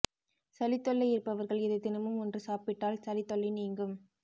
சளி தொல்லை இருப்பவர்கள் இதை தினமும் ஒன்று சாப்பிட்டால் சளி தொல்லை நீங்கும்